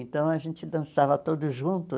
Então, a gente dançava todos juntos.